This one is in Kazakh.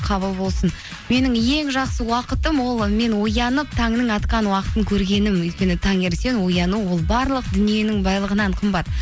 қабыл болсын менің ең жақсы уақытым ол мен оянып таңның атқан уақытын көргенім өйткені таңертең ояну ол барлық дүниенің байлығынан қымбат